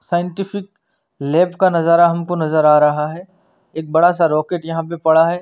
Scientific lab का नजारा हमको नजर आ रहा है एक बड़ा सा रोकेट यहाँ पे पडा है।